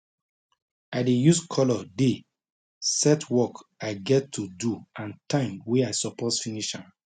i dey use colour day set work i get to do and time wey i suppose finish am